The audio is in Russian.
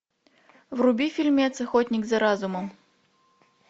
вруби фильмец охотник за разумом